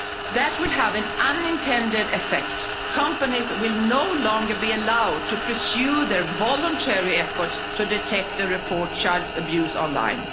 That would have an unintended effect companies will no longer be allowed to pursue their voluntary efforts to detect and report child abuse online.